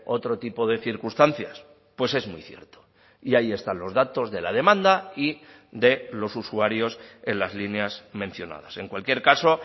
otro tipo de circunstancias pues es muy cierto y ahí están los datos de la demanda y de los usuarios en las líneas mencionadas en cualquier caso